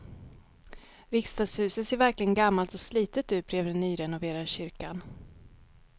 Riksdagshuset ser verkligen gammalt och slitet ut bredvid den nyrenoverade kyrkan.